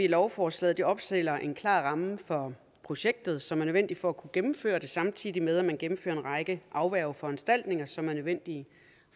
lovforslaget opstiller en klar ramme for projektet som er nødvendig for at kunne gennemføre det samtidig med at man gennemfører en række afværgeforanstaltninger som er nødvendige